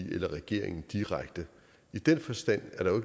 eller regeringen direkte i den forstand er der